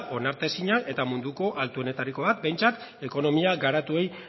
onartezinak eta munduko altuenetarikoak behintzat ekonomia garatuei